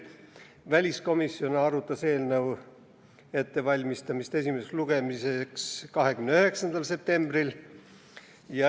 Väliskomisjon arutas eelnõu ettevalmistamist esimeseks lugemiseks 29. septembril.